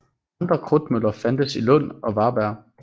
Andre krudtmøller fandtes i Lund og Varberg